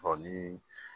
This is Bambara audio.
Ɔ ni